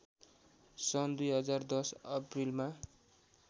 सन् २०१० अप्रिलमा